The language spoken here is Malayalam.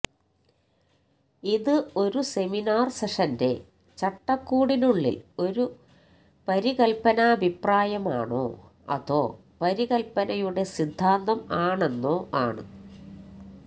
ഇത് ഒരു സെമിനാർ സെഷന്റെ ചട്ടക്കൂടിനുള്ളിൽ ഒരു പരികല്പനാഭിപ്രായമാണോ അതോ പരികല്പനയുടെ സിദ്ധാന്തം ആണെന്നോ ആണ്